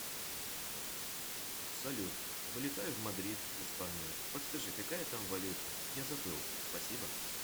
салют вылетаю в мадрид в испанию подскажи какая там валюта я забыл спасибо